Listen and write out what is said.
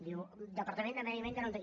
diu departament de medi ambient que no tenim